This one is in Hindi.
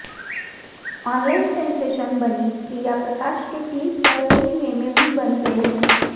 ऑनलाइन सेन्सेशन बनीं प्रिया प्रकाश के क्लिप पर कई मेमे भी बन गए है